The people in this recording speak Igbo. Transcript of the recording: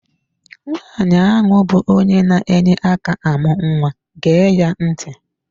Nwaanyi a bụ onye na-enye aka amụ nwa gee ya ntị!